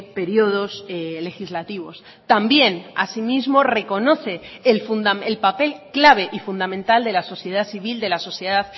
periodos legislativos también asimismo reconoce el papel clave y fundamental de la sociedad civil de la sociedad